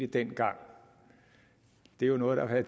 dengang det er jo noget der har